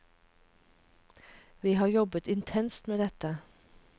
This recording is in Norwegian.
Vi har jobbet intenst med dette.